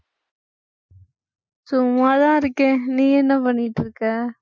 சும்மாதான் இருக்கேன். நீ என்ன பண்ணிட்டு இருக்க